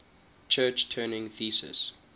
church turing thesis